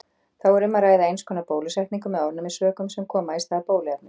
Þá er um að ræða eins konar bólusetningu með ofnæmisvökum sem koma í stað bóluefnis.